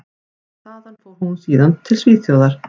Þaðan fór hún síðan út til Svíþjóðar.